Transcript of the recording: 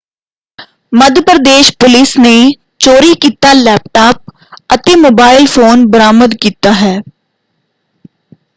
ਮੱਧ Pradesh police ਨੇ ਚੋਰੀ ਕੀਤਾ ਲੈਪਟਾਪ ਅਤੇ ਮੋਬਾਈਲ ਫ਼ੋਨ ਬਰਾਮਦ ਕੀਤਾ ਹੈ।